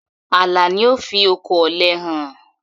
Àlà ni ó fi oko òle hàn.